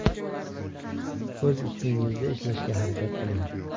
O‘z ustingizda ishlashga harakat qiling.